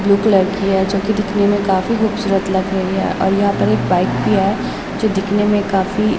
blue colour की है जो कि दिखने में काफी खूबसूरत लग रही है और यहाँ पर एक बाइक भी है जो दिखने में काफी --